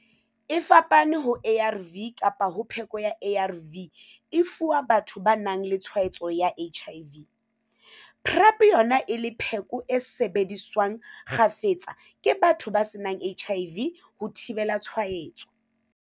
E fapane ho ARV ka ha pheko ya ARV e fuwa batho ba nang le tshwaetso ya HIV, PrEP yona e le pheko e sebediswang kgafetsa ke batho ba senang HIV ho thibela tshwaetso.